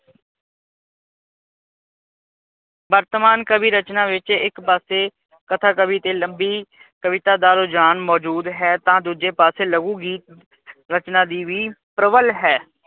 ਵਰਤਮਾਨ ਕਵੀ ਰਚਨਾ ਵਿੱਚ ਇੱਕ ਪਾਸੇ ਕਥਾ ਕਵੀ ਤੇ ਲੰਬੀ ਕਵਿਤਾ ਦਾ ਰੁਝਾਨ ਮੌਜੂਦ ਹੈ ਤਾਂ ਦੂਜੇ ਪਾਸੇ ਲਘੂ ਰਚਨਾ ਦੀ ਵੀ ਪ੍ਰਬਲ ਹੈ।